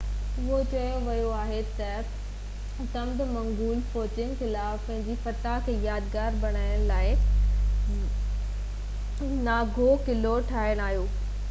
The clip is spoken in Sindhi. اهو چيو ويو آهي 1649 ۾ تبت منگول فوجين خلاف پنهنجي فتح کي يادگار بڻائڻ لاءِ زهبدرنگ ناوانگ نانگيو قلعو ٺاهرايو